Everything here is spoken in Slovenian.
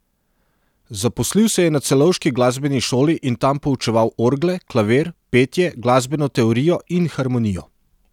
Zaposlil se je na celovški glasbeni šoli in tam poučeval orgle, klavir, petje, glasbeno teorijo in harmonijo.